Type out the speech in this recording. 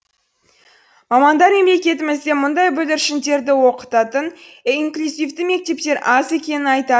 мамандар мемлекетімізде мұндай бүлдіршіндерді оқытатын инклюзивті мектептер аз екенін